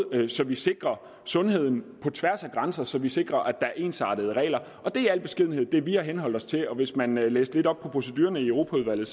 så vi sikrer sundheden på tværs af grænser så vi sikrer at der er ensartede regler og det er i al beskedenhed det vi har henholdt os til hvis man læste lidt op på procedurerne i europaudvalget